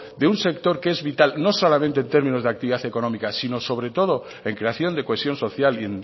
de un sector que es vital no solamente en términos de actividad económica sino sobre todo en creación de cohesión social y